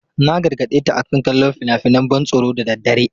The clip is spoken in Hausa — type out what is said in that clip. Na gargade ta akan kallon fina-finan ban tsoro da daddare.